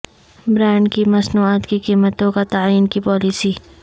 brand کی مصنوعات کی قیمتوں کا تعین کی پالیسی